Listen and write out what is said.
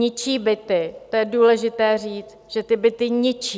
Ničí byty, to je důležité říct, že ty byty ničí.